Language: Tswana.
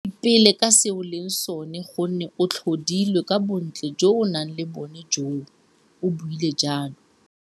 Ipele ka se o leng sone gonne o tlhodilwe ka bontle jo o nang le jone joo, o buile jalo.